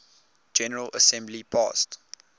general assembly passed